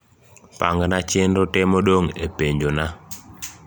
pangna chenro te modong e penjona